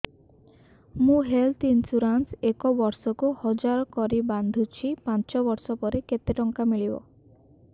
ମୁ health insurance ଏକ ବର୍ଷକୁ ହଜାର କରି ବାନ୍ଧୁଛି ପାଞ୍ଚ ବର୍ଷ ପରେ କେତେ ଟଙ୍କା ମିଳିବ